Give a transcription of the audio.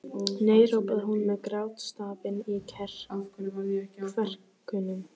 Nei hrópaði hún með grátstafinn í kverkunum.